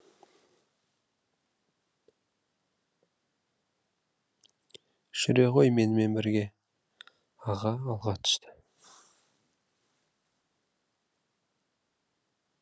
жүре ғой менімен бірге аға алға түсті